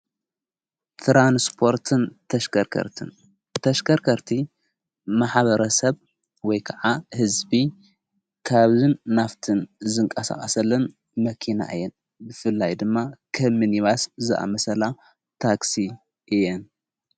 ትራንስጶርትን ተሽከርከርትን ተሽከርከርቲ መሓበረ ሰብ ወይ ከዓ ሕዝቢ ካብዝን ናፍትን ዘንቃሳዋሰለን መኪና እየን ብፍላይ ድማ ኸምኒባስ ዝኣመሰላ ታክሲ እየን።